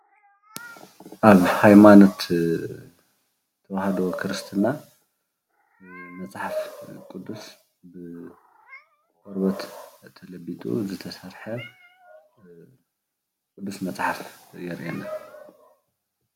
ኣብ ሃይማኖት ተዋህዶ ክርስትና መፅሓፍ ቁዱስ ብቆርበት ተለቢጡ ዝተሰርሐ ቁዱስ መፅሓፍ የርእየና፡፡